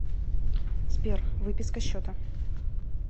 сбер выписка счета